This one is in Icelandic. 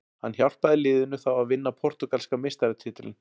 Hann hjálpaði liðinu þá að vinna portúgalska meistaratitilinn.